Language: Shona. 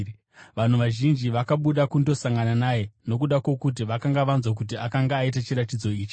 Vanhu vazhinji vakabuda kundosangana naye nokuda kwokuti vakanga vanzwa kuti akanga aita chiratidzo ichi.